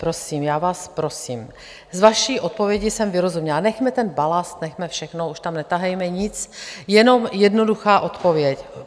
Prosím, já vás prosím, z vaší odpovědi jsem vyrozuměla - nechme ten balast, nechme všechno, už tam netahejme nic, jenom jednoduchá odpověď.